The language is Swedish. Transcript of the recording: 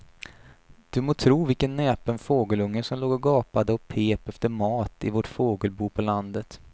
Du må tro vilken näpen fågelunge som låg och gapade och pep efter mat i vårt fågelbo på landet.